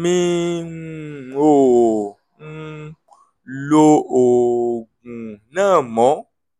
mi um ò um lo oògùn náà mọ́